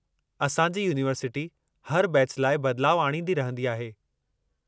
असां जी यूनिवर्सिटी हर बैच लाइ बदिलाउ आणिंदी रहिंदी आहे।